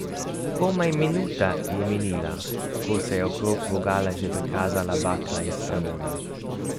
Komaj minuta je minila, ko se je okrog vogala že prikazala bakla iz sprevoda.